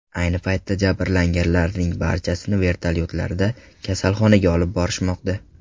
Ayni paytda jabrlanganlarning barchasini vertolyotlarda kasalxonaga olib borishmoqda.